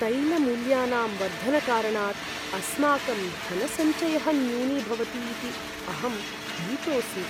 तैलमूल्यानां वर्धनकारणात् अस्माकं धनसञ्चयः न्यूनीभवति इति अहं भीतोऽस्मि।